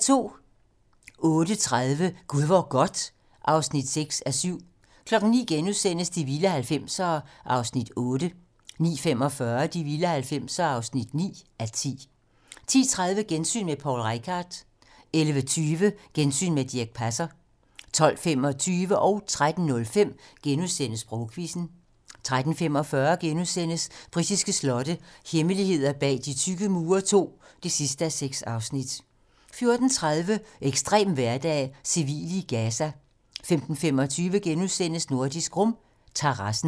08:30: Gud hvor godt (6:7) 09:00: De vilde 90'ere (8:10)* 09:45: De vilde 90'ere (9:10) 10:30: Gensyn med Poul Reichhardt 11:20: Gensyn med Dirch Passer 12:25: Sprogquizzen * 13:05: Sprogquizzen * 13:45: Britiske slotte - hemmeligheder bag de tykke mure II (6:6)* 14:30: Ekstrem hverdag: Civile i Gaza 15:25: Nordisk Rum - terrassen *